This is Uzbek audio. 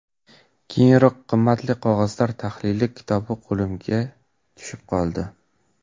Keyinroq ‘Qimmatli qog‘ozlar tahlili’ kitobi qo‘limga tushib qoldi.